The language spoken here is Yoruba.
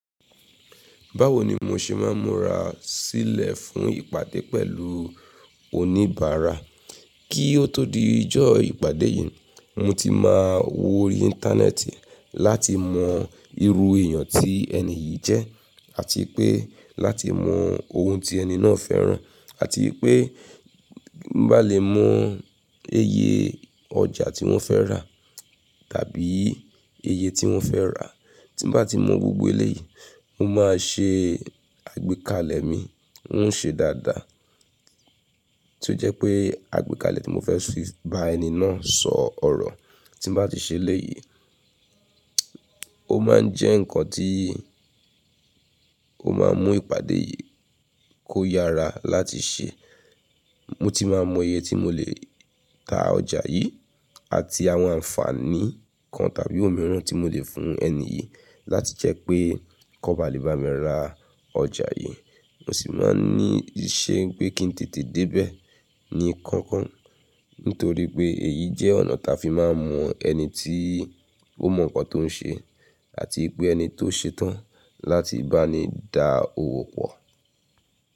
Báwo ni mo ṣe máa ń múra sílẹ̀ fún ìpàdé pẹ̀lú oníbàárà. Kí ó tó di ọjọ́ ìpàdé yìí, mo ti máa wo ori íńtánẹ́ẹ̀tì láti mọ irú èèyàn tí ẹni yìí jẹ́, àti pé láti mọ ohun tí ẹni náà fẹ́ràn, àti pé bá lè mọ iye ọjà tí wọ́n fẹ́ rà tàbí iye tí wọ́n fẹ́ rà. Tí bá ti mọ gbogbo eléyìí, mo máa ṣe àgbékalẹ̀ mi, ó ń ṣe dáadáa. Tí ó jẹ́ pé àgbékalẹ̀ tí mo fẹ́ fi bá ẹni náà sọ ọ̀rọ̀. Tí bá ti ṣe eléyìí, ó máa ń jẹ́ nǹkan tí ó máa ń mú ìpàdé yìí kó yára láti ṣe. Mo ti máa mọ iye tí mo lè ta ọjà yìí àti àwọn àǹfààní kan tàbí òmíràn tí mo lè fún ẹni yìí láti jẹ́ pé kó ba lè bá mi ra ọjà yìí. Mo sì máa ń ní ìṣe pé kí n tètè débẹ̀ ní kankan nítorí pé èyí jẹ́ ọ̀nà tí a fi máa mọ ẹni tí ó mọ nǹkan tó ń ṣe àti pé ẹni tó ṣetán láti bá ni dá owó pọ̀.